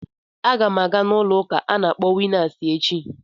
Agam aga n'ulo uka a na akpọ winnas echi.